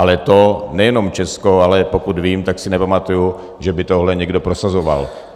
Ale to nejenom Česko, ale pokud vím, tak si nepamatuji, že by tohle někdo prosazoval.